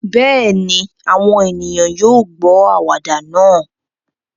Bẹ́ẹ̀ ni, àwọn ènìyàn yóò gbọ́ àwàdà náà